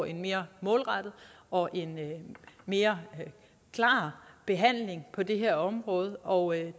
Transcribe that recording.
en mere målrettet og en mere klar behandling på det her område og